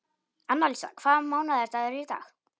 Annalísa, hvaða mánaðardagur er í dag?